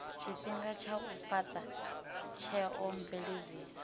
tshifhinga tsha u fhata theomveledziso